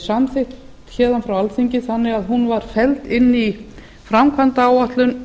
samþykkt héðan frá alþingi þannig að hún var felld inn í framkvæmdaáætlun